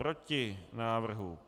Proti návrhu.